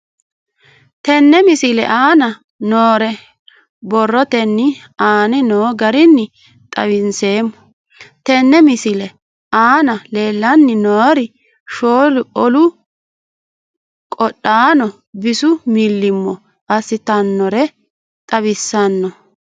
Tenne misile aana noore borrotenni aane noo garinni xawiseemo. Tenne misile aana leelanni nooerri shoolu olu qodhaanno bisu millimmo asitanore xawissanno.